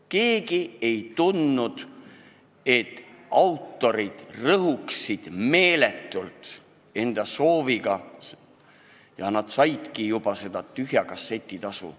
Keegi ei tundnud, et autorid rõhuksid meeletult enda soovidega, pealegi nad saidki juba seda tühja kasseti tasu.